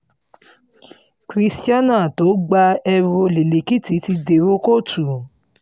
christianah tó gba ẹrù olè lèkìtì ti dèrò kóòtù